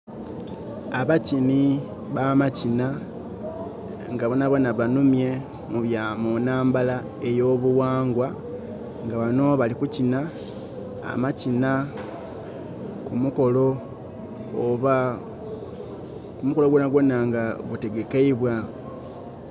Abakini ba'makina ngabonabona banhumye munnhambala eyo'bughangwa nga banno balikukina amakina kumukolo oba mukolo gwonagwona nga gutegekeibwa.